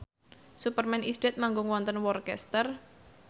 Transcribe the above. Superman is Dead manggung wonten Worcester